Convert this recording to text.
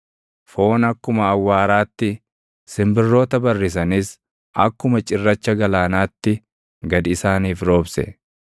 Foon akkuma awwaaraatti, simbirroota barrisanis akkuma cirracha galaanaatti gad isaaniif roobse.